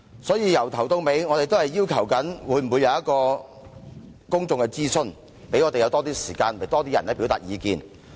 所以，我們一直要求進行公眾諮詢，讓我們有更多時間，讓更多人可以表達意見。